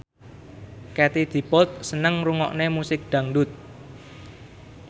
Katie Dippold seneng ngrungokne musik dangdut